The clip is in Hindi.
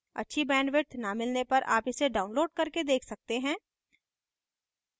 अच्छी bandwidth न मिलने पर आप इसे download करके देख सकते हैं